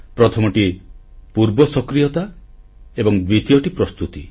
ପ୍ରଥମଟି ପୂର୍ବ ସକ୍ରିୟତା ଏବଂ ଦ୍ୱିତୀୟଟି ପ୍ରସ୍ତୁତି